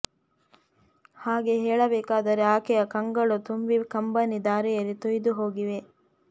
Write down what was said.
ಹಾಗೆ ಹೇಳಬೇಕಾದರೆ ಆಕೆಯ ಕಂಗಳು ತುಂಬಿ ಕಂಬನಿ ಧಾರೆಯಲಿ ತೊಯ್ದು ಹೋಗಿವೆ